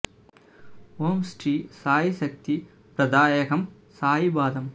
ஓம் ஸ்ரீ சாயி சக்தி ப்ரதாயகம் சாயி பாதம்